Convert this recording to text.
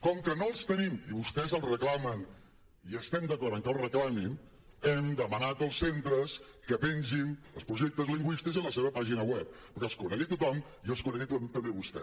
com que no els tenim i vostès els reclamen i estem d’acord amb que els reclamin hem demanat als centres que pengin els projectes lingüístics en la seva pàgina web perquè els conegui tothom i els conegui també vostè